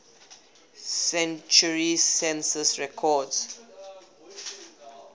century census records